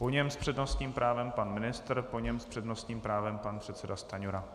Po něm s přednostním právem pan ministr, po něm s přednostním právem pan předseda Stanjura.